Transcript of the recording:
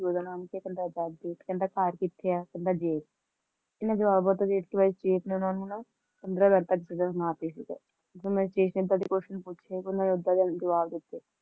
ਕਹਿੰਦੇ ਪਿਓ ਦਾ ਨਾਂ ਕੀ ਹੈ ਤਾਂ ਕਹਿੰਦੇ ਆਜ਼ਾਦ ਫੇਰ ਕਹਿੰਦੇ ਘਰ ਕਿੱਥੇ ਹੈ ਤਾਂ ਕਹਿੰਦੇ ਜੇਲ ਚ ਫੇਰ ਓਹਨਾਂ ਨੇ ਸਟੇਸ਼ਨ ਤਕ question ਪੁੱਛੇ ਫੇਰ ਓਹਨਾਂ ਨੇ ਉਦਾਂ ਦੇ ਜਵਾਬ ਦਿਤੇ